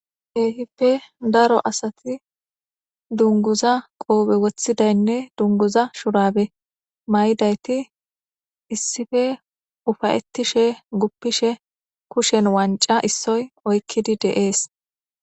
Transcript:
Kehippe daaro asati dungguza qoppe woththidaynne dungguza shurabbe mayidayti issippe uffaetishe guffishe kushshen wancca issoy oykkidi de'essi.